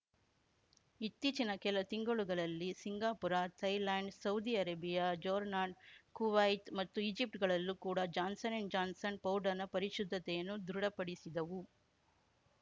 ಇತ್ತೀಚಿನ ಕೆಲ ತಿಂಗಳುಗಳಲ್ಲಿ Singapore Thailand Saudi Arabia Jordan Kuwait ಮತ್ತು ಈಜಿಪ್ಟ್‌ಗಳಲ್ಲೂ ಕೂಡಾ ಜಾನ್ಸನ್ ಅಂಡ್ ಜಾನ್ಸನ್ ಪೌಡರ್‌ನ ಪರಿಶುದ್ಧತೆಯನ್ನು ದೃಢಪಡಿಸಿದವು